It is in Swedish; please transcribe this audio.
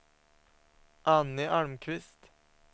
Anny Almqvist